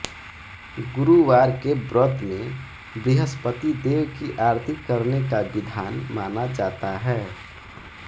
गुरुवार के व्रत में बृहस्पति देव की आरती करने का विधान माना जाता है